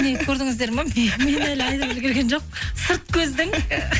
міне көрдіңіздер ма мен әлі айтып үлгірген жоқпын сырт көздің